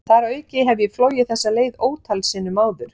Þar að auki hef ég flogið þessa leið ótal sinnum áður.